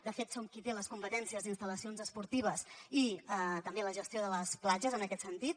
de fet som qui té les competències d’instal·lacions esportives i també la gestió de les platges en aquest sentit